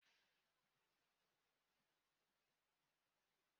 Gịnị bụ aha onye nta akụkọ ahụ?